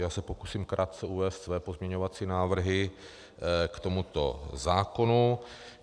Já se pokusím krátce uvést své pozměňovací návrhy k tomuto zákonu.